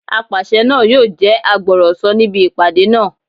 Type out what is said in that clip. Apàṣẹ náà yóò jẹ́ agbọ̀rọ̀sọ níbi ìpàdé náà